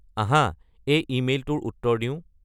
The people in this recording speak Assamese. আঁহা এই ইমেইলটোৰ উত্তৰ দিওঁ